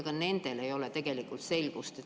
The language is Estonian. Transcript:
Ka nendel ei ole tegelikult selgust.